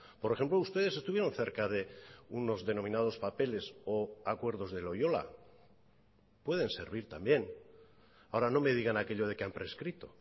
por ejemplo ustedes estuvieron cerca de unos denominados papeles o acuerdos de loyola pueden servir también ahora no me digan aquello de que han prescrito